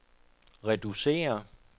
reducere